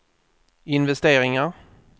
investeringar